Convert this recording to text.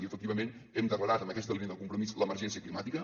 i efectivament hem declarat en aquesta línia de compromís l’emergència climàtica